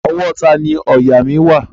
Ọwọ́ tani òòyà wà?